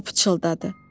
o pıçıldadı.